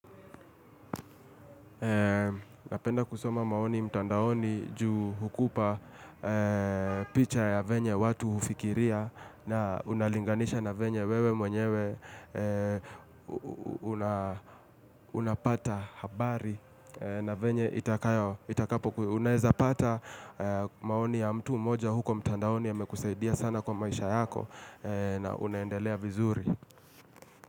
Napenda kusoma maoni mtandaoni juu hukupa picha ya venye watu hufikiria na unalinganisha na venye wewe mwenyewe unapata habari na venye itakapo unaweza pata maoni ya mtu moja huko mtandaoni yamekusaidia sana kwa maisha yako na unaendelea vizuri.